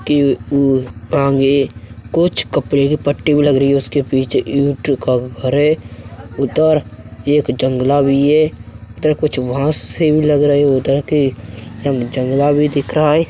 के ऊ आगे कुछ कपड़े की पट्टी भी लगी हुई है उसके पीछे ईंटो का घर है उधर एक जंगला भी है उधर कुछ घास से भी लग रहे है उधर के जंगला भी दिख रहा है।